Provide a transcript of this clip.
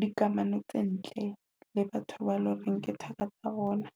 dikamano tse ntle le batho ba eleng hore nmke thaka tsa bona.